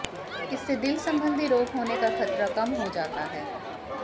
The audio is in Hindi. इससे दिल संबंधी रोग होने का खतरा कम हो जाता है